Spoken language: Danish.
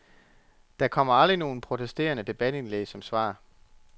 Der kommer aldrig nogen protesterende debatindlæg som svar.